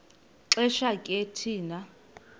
xesha ke thina